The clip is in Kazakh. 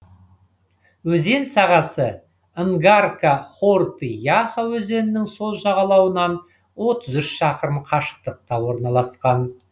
өзен сағасы нгарка хорты яха өзенінің сол жағалауынан отыз үш шақырым қашықтықта орналасқан